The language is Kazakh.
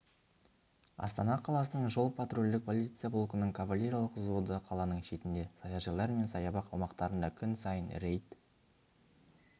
астана қаласының жол-патрульдік полиция полкінің кавалериялық взводы қаланың шетінде саяжайлар мен саябақ аумақтарында күн сайын рейд